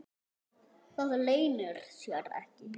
Það leynir sér ekki.